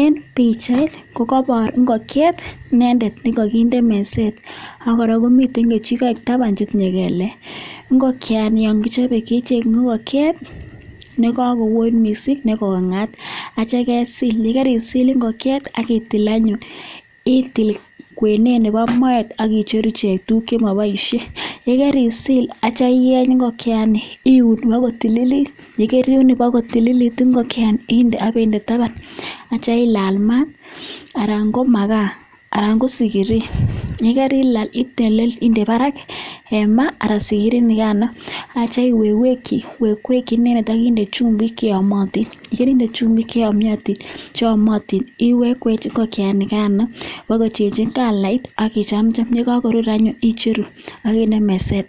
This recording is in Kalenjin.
Eb bichait kokabor ingokiet inendet nekakinde meset akora komiten kichiket taban netinye kelek ngokiani yangichobe kechenge ingokiet nekakoonit mising nekongat acha kesil ayekaisil ingokiet akitil anyun ITIL kwenet Nebo Moet akicher tuguk chemabaishe ayekaisil akitya iun kotililit ayikatililit inde taban akitya ilal mat anan ko makaa anan ko sikirii yekarilal itil akinde Barak ma anan sikiri akinde ma akiwekweki inendet akinde chumbik cheyamatin ayikainde chumbik iwechweche ingokiet nikano bakochenchen kalait akichamcham yekakorur anyun icheru akinde meset